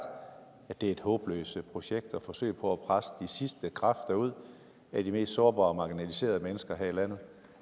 at det er et håbløst projekt at forsøge på at presse de sidste kræfter ud af de mest sårbare og marginaliserede mennesker her i landet